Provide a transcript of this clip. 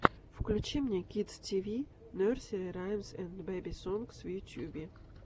включи мне кидс ти ви нерсери раймс энд бэби сонгс в ютьюбе